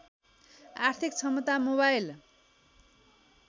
आर्थिक क्षमता मोबाइल